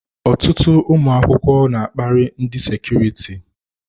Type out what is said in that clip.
Ọtụtụ ụmụ akwụkwọ n'akpari ndị sekuriti.